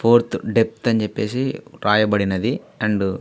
fourth death అనేది రాయబడి ఉంది అండ్ --